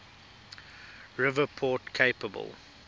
river port capable